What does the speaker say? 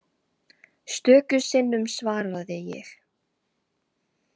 Stöku sinnum svaraði ég.